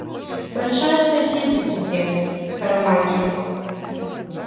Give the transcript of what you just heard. большое спасибо тебе скоромагия